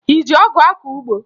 Ị ji ọgụ akọ ugbo?